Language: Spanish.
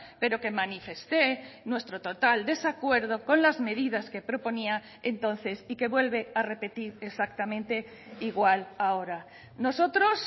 pero que manifesté nuestro total desacuerdo con las medidas que proponía entonces y que vuelve a repetir exactamente igual ahora nosotros